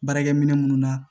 Baarakɛ minɛ minnu na